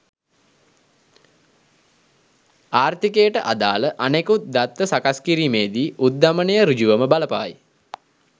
ආර්ථීකයට අදාළ අනෙකුත් දත්ත සකස් කිරීමේදී උද්ධමනය සෘජුවම බලපායි.